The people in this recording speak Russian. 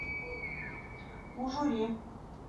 ужуре